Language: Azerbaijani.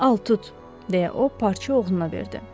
Al tut, deyə o parça oğluna verdi.